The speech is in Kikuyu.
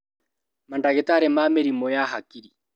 Mandagĩtarĩ ma mĩrimũ ya hakiri